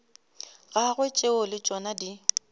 gagwe tšeo le tšona di